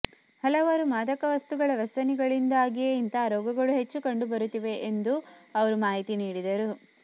ಹಲವಾರು ಮಾದಕ ವಸ್ತುಗಳ ವ್ಯಸನಗಳಿಂದಾಗಿಯೇ ಇಂಥ ರೋಗಗಳು ಹೆಚ್ಚು ಕಂಡುಬರುತ್ತಿದೆ ಎಂದೂ ಅವರು ಮಾಹಿತಿ ನೀಡಿದರು